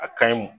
A kaɲi